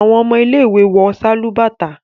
awọn ọmọ ile-iwe wọ Sálúbàtà